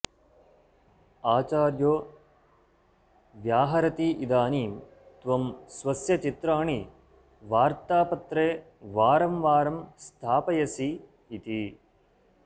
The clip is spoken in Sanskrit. आचार्यो व्याहरतीदानीं त्वं स्वस्य चित्राणि वार्त्तापत्रे वारं वारं स्थापयसि इति